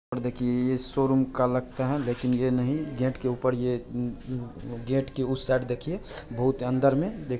देखिये ये शोरूम का लगता है लेकिन ये नहीं गेट के ऊपर ये गेट के उस साइड देखिए बहुत है अंदर में दे--